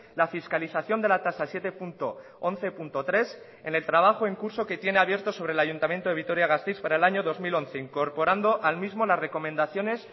la fiscalización de la tasa siete punto once punto tres en el trabajo en curso que tiene abierto sobre el ayuntamiento de vitoria gasteiz para el año dos mil once incorporando al mismo las recomendaciones